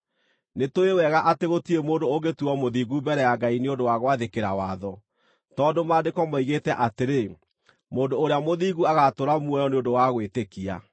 Nĩtũũĩ wega atĩ gũtirĩ mũndũ ũngĩtuuo mũthingu mbere ya Ngai nĩ ũndũ wa gwathĩkĩra watho, tondũ Maandĩko moigĩte atĩrĩ: “Mũndũ ũrĩa mũthingu agaatũũra muoyo nĩ ũndũ wa gwĩtĩkia.”